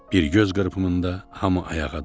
Bir göz qırpımında hamı ayağa durdu.